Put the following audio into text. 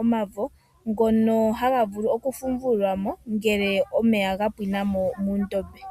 omavo. Ngoka haga vulu oku fumvulwa mo ngele omeya gapwinamo muudhiya.